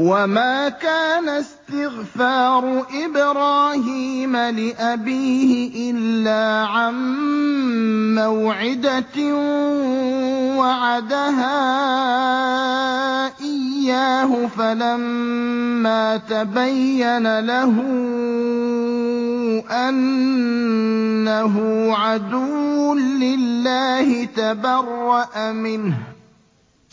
وَمَا كَانَ اسْتِغْفَارُ إِبْرَاهِيمَ لِأَبِيهِ إِلَّا عَن مَّوْعِدَةٍ وَعَدَهَا إِيَّاهُ فَلَمَّا تَبَيَّنَ لَهُ أَنَّهُ عَدُوٌّ لِّلَّهِ تَبَرَّأَ مِنْهُ ۚ